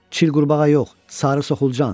Çil qurbağa yox, sarı soxulcan.